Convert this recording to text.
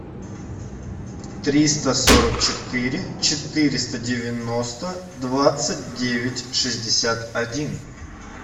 триста сорок четыре четыреста девяносто двадцать девять шестьдесят один